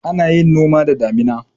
Ana yin noma da damuna.